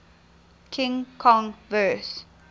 king kong vs